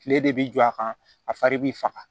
Kile de bi jɔ a kan a fari b'i faga